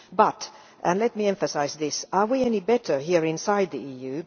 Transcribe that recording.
But let me emphasise this are we any better here inside the EU?